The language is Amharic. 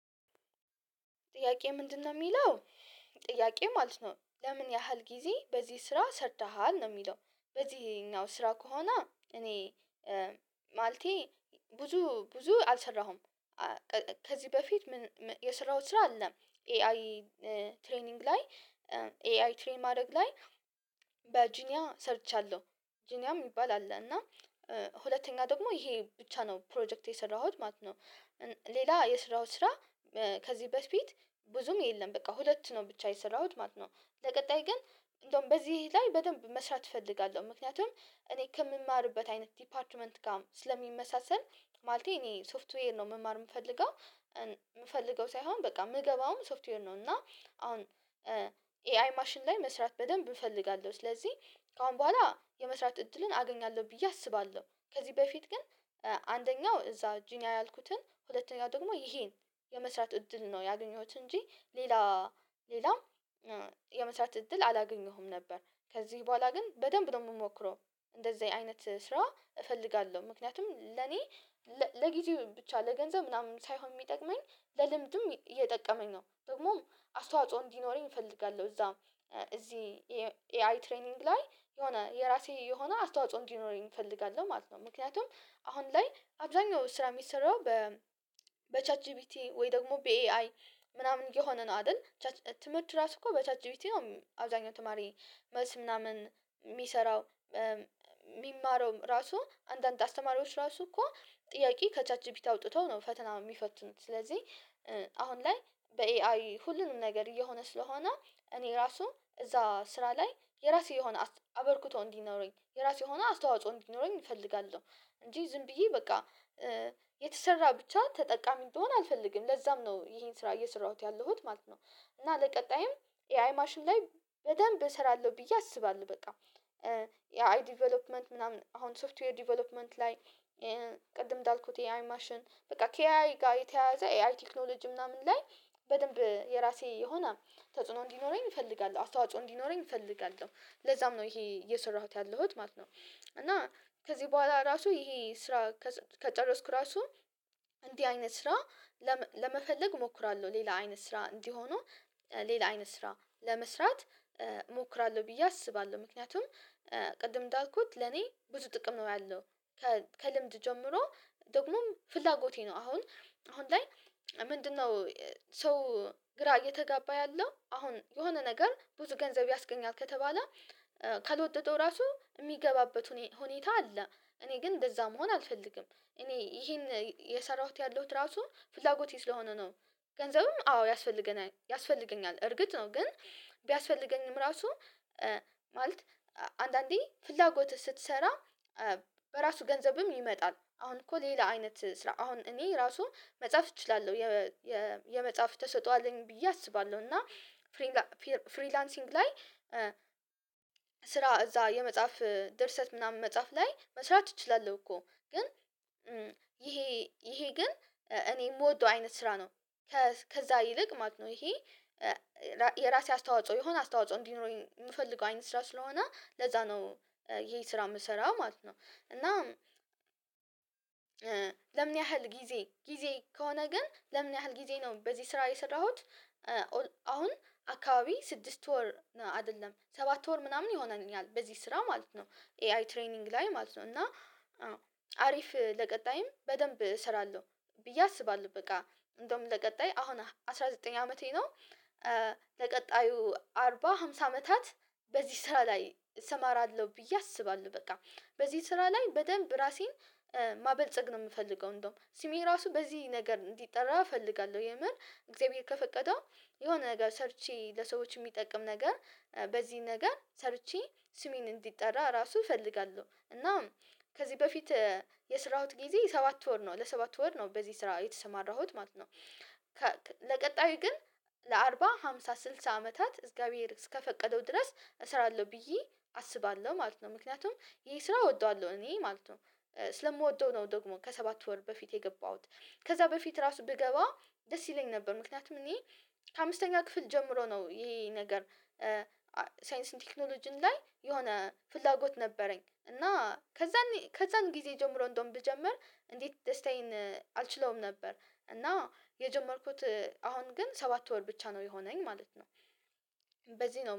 ጥያቄ ምንድነው የሚለው ጥያቄው ማለት ነው "ለምን ያህል ጊዜ በዚህ ስራ ሰርተሃል?" ነው የሚለው። በዚህኛው ስራ ከሆነ እኔ ማለቴ ብዙ ብዙ አልሰራሁም። ከዚህ በፊት የሰራሁት ስራ አለ። 'ኤአይ ትሬኒንግ' ላይ 'ኤአይ ትሬን' ማድረግ ላይ በጂኒያ ሰርቻለሁ። ጂኒያም የሚባል አለ። እና ሁለተኛ ደግሞ ይሄ ብቻ ነው 'ፕሮጀክት' የሰራሁት ማለት ነው። ሌላ የሰራሁት ስራ ከዚህ በፊት ብዙም የለም በቃ ሁለት ነው ብቻ የሰራሁት ማለት ነው። ለቀጣይ ግን እንደውም በዚህ ላይ በደንብ መስራት እፈልጋለሁ። ምክንያቱም እኔ ከምማርበት አይነት 'ዲፓርትመንት' ጋር ስለሚመሳሰል ማለቴ እኔ 'ሶፍትዌር' ነው መማር የምፈልገው። የምፈልገው ሳይሆን በቃ የምገባውም ሶፍትዌር ነው። እና አሁን 'ኤአይ ማሽን' ላይ መስራት በደንብ እፈልጋለሁ። ስለዚህ ከአሁን በኋላ የመስራት እድልን አገኛለሁ ብዬ አስባለሁ። ከዚህ በፊት ግን አንደኛው እዛ ጂኒያ ያልኩትን ሁለተኛ ደግሞ ይሄን የመስራት እድል ነው ያገኘሁት እንጂ ሌላ ሌላም የመስራት እድል አላገኘሁም ነበር። ከዚህ በኋላ ግን በደንብ ነው የምሞክረው እንደዚህ አይነት ስራ እፈልጋለሁ። ምክንያቱም ለኔ ለጊዜ ብቻ ለገንዘብ ምናምን ሳይሆን የሚጠቅመኝ ለልምድም እየጠቀመኝ ነው። ደግሞም አስተዋጽኦ እንዲኖረኝ እፈልጋለሁ። እዛም እዚህ 'ኤአይ ትሬኒንግ' ላይ የሆነ የራሴ የሆነ አስተዋጽኦ እንዲኖረኝ እፈልጋለሁ ማለት ነው። ምክንያቱም አሁን ላይ አብዛኛው ስራ የሚሰራው በ በ'ቻት ጂቢቲ' ወይ ደግሞ በ'ኤአይ' ምናምን እየሆነ ነው አይደል? ትምህርት ራሱ እኮ በ'ቻት ጂፒቲ' አብዛኛው ተማሪ መልስ ምናምን የሚሰራው። የሚማረውም ራሱ አንዳንድ አስተማሪዎች ራሱ እኮ ጥያቄ ከ'ቻት ጂፒቲ' አውጥተው ነው ፈተና የሚፈትኑት። ስለዚህ አሁን ላይ በ'ኤአይ' ሁሉንም ነገር እየሆነ። ስለሆነ እኔ ራሱ እዛ ስራ ላይ የራሴ የሆነ አበርክቶ እንዲኖረኝ የራሴ የሆነ አስተዋጽኦ እንዲኖረኝ እፈልጋለሁ። እንጂ ዝም ብዬ በቃ የተሰራ ብቻ ተጠቃሚ እንድሆን አልፈልግም። ለዛም ነው ይሄን ስራ እየሰራሁት ያለሁት ማለት ነው። እና ለቀጣይም 'ኤአይ ማሽን' ላይ በደንብ እሰራለሁ ብዬ አስባለሁ በቃ። 'ኤአይ ዴቨሎፕመንት' ምናምን አሁን 'ሶፍትዌር ዴቨሎፕመንት' ላይ ቅድም እንዳልኩት የ'ኤአይ ማሽን' በቃ ከ'ኤአይ' ጋር የተያያዘ 'ኤአይ ቴክኖሎጂ' ምናምን ላይ በደንብ የራሴ የሆነ ተጽዕኖ እንዲኖረኝ እፈልጋለሁ። አስተዋጽኦ እንዲኖረኝ እፈልጋለሁ። ለዛም ነው ይሄ እየሰራሁት ያለሁት ማለት ነው። እና ከዚህ በኋላ ራሱ ይሄ ስራ ከጨረስኩ ራሱ እንዲህ አይነት ስራ ለመፈለግ እሞክራለሁ። ሌላ አይነት ስራ እንዲህ ሆኖ ሌላ አይነት ስራ ለመስራት እሞክራለሁ ብዬ አስባለሁ። ምክንያቱም ቅድም እንዳልኩት ለኔ ብዙ ጥቅም ነው ያለው። ከልምድ ጀምሮ ደግሞም ፍላጎቴ ነው። አሁን አሁን ላይ ምንድነው ሰው ግራ እየተጋባ ያለው አሁን የሆነ ነገር ብዙ ገንዘብ ያስገኛል ከተባለ ካልወደደው ራሱ የሚገባበት ሁኔታ አለ። እኔ ግን እንደዛ መሆን አልፈልግም። እኔ ይሄን እየሰራሁት ያለሁት ራሱ ፍላጎት ስለሆነ ነው። ገንዘብም አዎ ያስፈልገናል ያስፈልገኛል። እርግጥ ነው። ግን ቢያስፈልገኝም ራሱ ማለት አንድአንዴ ፍላጎትህ ስትሰራ በራሱ ገንዘብም ይመጣል። አሁን እኮ ሌላ አይነት ስራ አሁን እኔ ራሱ መጻፍ እችላለሁ። የመጻፍ ተሰጥኦ አለኝ ብዬ አስባለሁ። እና 'ፍሪላንሲንግ' ላይ ስራ እዛ የመጻፍ ድርሰት ምናምን መጻፍ ላይ መስራት እችላለሁ እኮ። ግን ይሄ ይሄ ግን እኔ የምወደው አይነት ስራ ነው። ከዛ ይልቅ ማለት ነው ይሄ የራሴ አስተዋጽኦ የሆነ አስተዋጽኦ እንዲኖረኝ የምፈልገው አይነት ስራ ስለሆነ ለዛ ነው ይሄን ስራ የምሰራው ማለት ነው። እና ለምን ያህል ጊዜ ጊዜ ከሆነ ግን ለምን ያህል ጊዜ ነው በዚህ ስራ የሰራሁት አሁን አካባቢ ስድስት ወር አይደለም ሰባት ወር ምናምን ይሆነኛል በዚህ ስራ ማለት ነው። 'ኤአይ ትሬኒንግ' ላይ ማለት ነው እና አሪፍ ለቀጣይም በደንብ እሰራለሁ ብዬ አስባለሁ። በቃ እንደውም ለቀጣይ አሁን አስራ ዘጠኝ አመቴ ነው ለቀጣዩ አርባ ሐምሳ አመታት በዚህ ስራ ላይ እሰማራለሁ ብዬ አስባለሁ። በቃ በዚህ ስራ ላይ በደንብ ራሴን ማበልጸግ ነው የምፈልገው እንደውም። ስሜ ራሱ በዚህ ነገር እንዲጠራ እፈልጋለሁ። የምር እግዚአብሔር ከፈቀደው የሆነ ነገር ሰርቼ ለሰዎች የሚጠቅም ነገር በዚህ ነገር ሰርቼ ስሜ እንዲጠራ ራሱ እፈልጋለሁ። እና ከዚህ በፊት የሰራሁት ጊዜ ሰባት ወር ነው። ለሰባት ወር ነው። በዚህ ስራ የተሰማራሁት ማለት ነው። ለቀጣዩ ግን ለአርባ፣ ሃምሳ፣ ስልሳ አመታት እግዛብሄር እስከፈቀደው ድረስ እሰራለሁ ብዬ አስባለሁ ማለት ነው። ምክንያቱም ይሄ ስራ እወደዋለሁ እኔ ማለት ነው። ስለምወደው ነው ደግሞ ከሰባት ወር በፊት የገባሁት። ከዛ በፊት ራሱ ብገባ ደስ ይለኝ ነበር። ምክንያቱም እኔ ከአምስተኛ ክፍል ጀምሮ ነው። ይሄ ነገር 'ሳይንስ ኤንድ ቴክኖሎጂም' ላይ የሆነ ፍላጎት ነበረኝ እና ከዛ ከዛን ጊዜ ጀምሮ እንደውም ብጀምር እንዴት ደስታዬን አልችለውም ነበር። እና የጀመርኩት አሁን ግን ሰባት ወር ብቻ ነው የሆነኝ ማለት ነው። በዚህ ነው